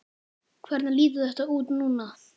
Hvernig lítur þetta út núna?